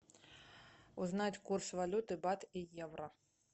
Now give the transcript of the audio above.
узнать курс валюты бат и евро